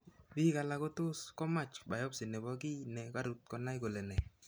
Biik alak kotos komach biopsy nebo kii ne karuut konai kole nee.